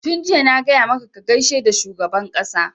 Tun jiya na gaya maka ka gaishe da shugaban ƙasa!